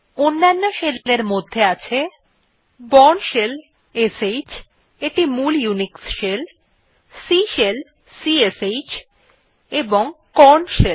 অন্যান্য শেল এর মধ্যে আছে বোর্ন শেল যেটি মূল ইউনিক্স শেল C শেল এবং কর্ন শেল